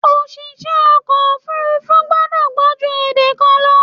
Oṣìṣẹ́ ọkọ̀ òfúrúfú gbọ́dọ̀ gbọ́ jù èdè kan lọ.